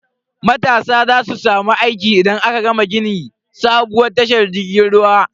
Matasa za su samu aiki idan aka gama gini sabuwar tashar jirgin ruwa.